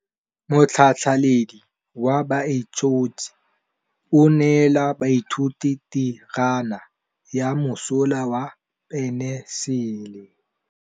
Motlhatlhaledi wa baeloji o neela baithuti tirwana ya mosola wa peniselene.